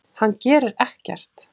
Hann gerir ekkert!